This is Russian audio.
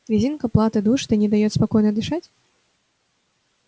резинка платы душит и не даёт спокойно дышать